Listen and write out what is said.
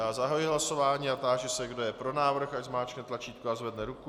Já zahajuji hlasování a táži se, kdo je pro návrh, ať zmáčkne tlačítko a zvedne ruku.